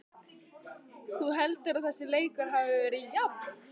Þú heldur að þessi leikur hafi verið jafn?